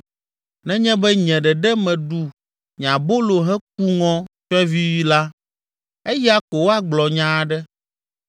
nenye be nye ɖeɖe meɖu nye abolo heku ŋɔ tsyɔ̃evi la, eya ko woagblɔ nya aɖe,